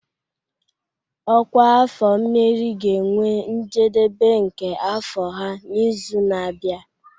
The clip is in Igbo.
Ọkwa afọ mmeri ga-enwe njedebe nke afọ ha n'izu na-abịa.